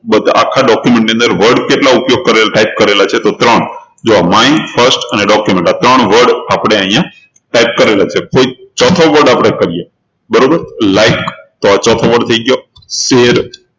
બધા આખા document ની અંદર word કેટલા ઉપયોગ કરેલા type કરેલા છે તો ત્રણ જુઓ myfirst અને document આ ત્રણ word આપણે અહિયાં type કરેલા છે કોઈ ચોથો word આપણે કરીએ બરોબર like તો આ ચોથો word થઇ ગયો